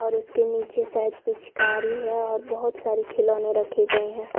और उसके निचे शायद पिचकारी और बहोत सारे खिलौने रखे गए है।